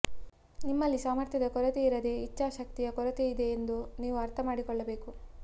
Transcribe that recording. ನಿಮ್ಮಲ್ಲಿ ಸಾಮರ್ಥ್ಯದ ಕೊರತೆಯಿರದೇ ಇಚ್ಛಾ ಶಕ್ತಿಯ ಕೊರತೆಯಿದೆಯೆಂದು ನೀವು ಅರ್ಥ ಮಾಡಿಕೊಳ್ಳಬೇಕು